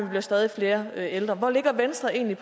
bliver stadig flere ældre hvor ligger venstre egentlig